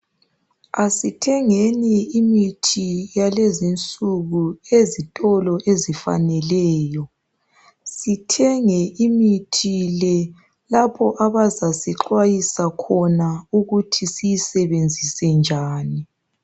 Asithengeni imithi yalezinsuku ezitolo ezifaneleyo sithenge imithi le lapho abazasixhwayisa khona ukuthi siyisebenzise njani